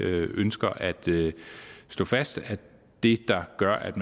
ønsker at slå fast at det der gør at